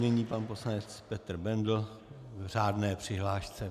Nyní pan poslanec Petr Bendl v řádné přihlášce.